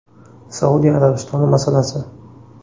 Saudiya Arabistoni masalasi.